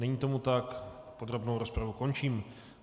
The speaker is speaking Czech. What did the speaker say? Není tomu tak, podrobnou rozpravu končím.